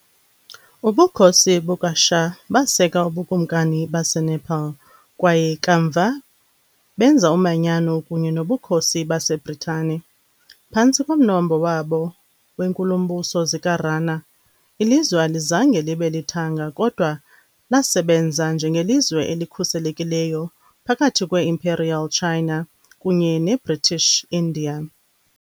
Ubukhosi bukaShah baseka uBukumkani baseNepal kwaye kamva benza umanyano kunye noBukhosi baseBritane, phantsi komnombo wabo weenkulumbuso zikaRana . Ilizwe alizange libe lithanga kodwa lasebenza njengelizwe elikhuselekileyo phakathi kwe -Imperial China kunye neBritish India .